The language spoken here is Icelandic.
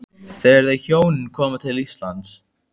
Þegar þau hjónin koma til Íslands